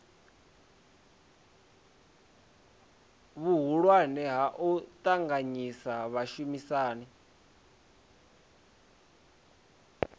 vhuhulwane ha u ṱanganyisa vhashumisani